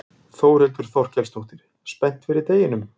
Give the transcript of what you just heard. Þórhildur Þorkelsdóttir: Spennt fyrir deginum?